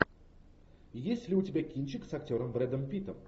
есть ли у тебя кинчик с актером брэдом питтом